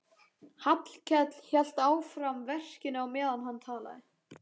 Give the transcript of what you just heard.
Hallkell hélt áfram verkinu á meðan hann talaði.